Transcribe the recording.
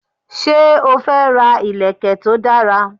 Sé o fẹ́ ra ìlèkè to dara?